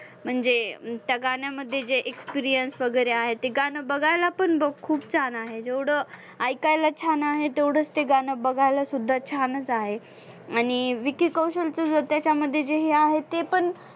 म्हणजे त्या गाण्यामध्ये जे experience वगैरे आहे ते गाणं बघायला पण खूप छान आहे, जेवढं ऐकायला छान आहे तेवढंच ते गाणं गायला सुद्धा छानच आहे. आणि विकी कौशलचं त्याच्यामध्ये जे आहे ते पण